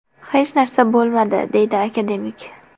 Hech narsa bo‘lmadi”, deydi akademik.